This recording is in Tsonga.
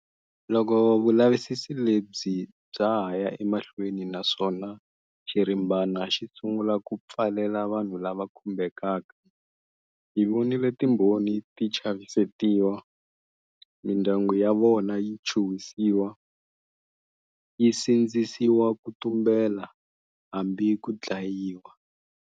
Loko vulavisisi lebyi bya ha ya emahlweni naswona xirimbana xi sungula ku pfalela vanhu lava kumbekaka, hi vonile timbhoni ti chavisetiwa, mindyangu ya vona yi chuhwisiwa, yi sindzisiwa ku tumbela hambi ku dlayiwa.